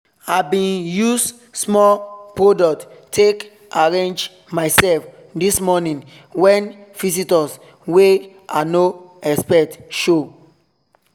i bin use small product take arrange myself this morning when visitors wey i no expect show.